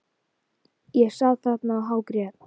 Ég sat þarna og hágrét.